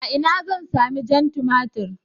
A ina zan sami jan tumatir?